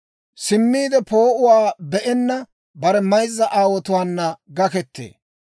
Simmiide poo'uwaa be'enna bare mayzza aawotuwaana gakkettee.